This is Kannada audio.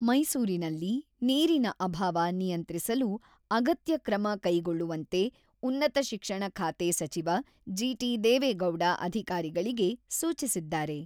"""ಮೈಸೂರಿನಲ್ಲಿ ನೀರಿನ ಅಭಾವ ನಿಯಂತ್ರಿಸಲು ಅಗತ್ಯ ಕ್ರಮ ಕೈಗೊಳ್ಳುವಂತೆ ಉನ್ನತ ಶಿಕ್ಷಣ ಖಾತೆ ಸಚಿವ ಜಿ.ಟಿ.ದೇವೇಗೌಡ ಅಧಿಕಾರಿಗಳಿಗೆ ಸೂಚಿಸಿದ್ದಾರೆ."